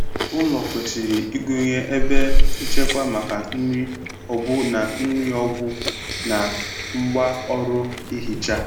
Ụlọ kwesịrị ịgụnye ebe nchekwa maka nri, ọgwụ, na nri, ọgwụ, na ngwá ọrụ ihicha.